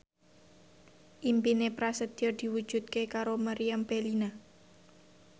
impine Prasetyo diwujudke karo Meriam Bellina